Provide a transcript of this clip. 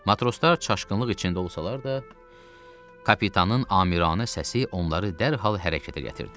Matroslar çaşqınlıq içində olsalar da, kapitanın amiranə səsi onları dərhal hərəkətə gətirdi.